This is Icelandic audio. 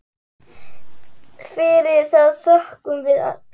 Fyrir það þökkum við öll.